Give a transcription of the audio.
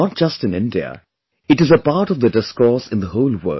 Not just in India, it is a part of the discourse in the whole world